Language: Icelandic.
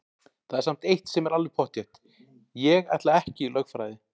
Það er samt eitt sem er alveg pottþétt: Ég ætla ekki í lögfræði!